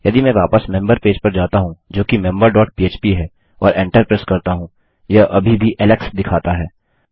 यदि मैं वापस मेम्बर पेज पर जाता हूँ जोकि मेंबर डॉट पह्प है और एंटर प्रेस करता हूँ यह अभी भी एलेक्स दिखाता है